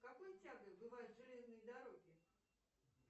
с какой тягой бывают железные дороги